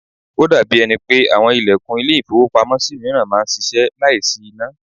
Ó dàbí ẹni pé àwọn ilẹ̀kùn ile-ifowopamo mìíràn máa ń ṣíṣe láìsí iná.